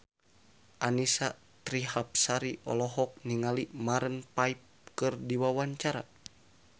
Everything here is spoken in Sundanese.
Annisa Trihapsari olohok ningali Maroon 5 keur diwawancara